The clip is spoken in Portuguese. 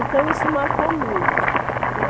Então, isso marcou muito, né.